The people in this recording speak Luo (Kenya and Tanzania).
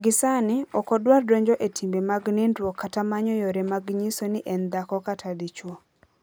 Gie sani, ok odwar donjo e timbe mag nindruok kata manyo yore mag nyiso ni en dhako kata dichwo.